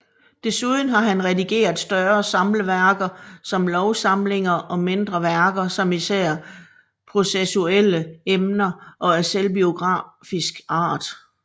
Desuden har han redigeret større samleværker som lovsamlinger og mindre værker om især processuelle emner og af selvbiografisk art